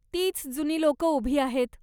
तीच जुनी लोकं उभी आहेत.